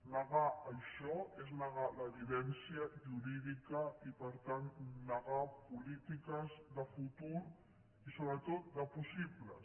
negar això és negar l’evidència jurídica i per tant negar polítiques de futur i sobretot de possibles